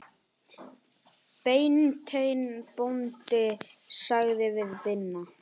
Beinteinn bóndi sagði við Binna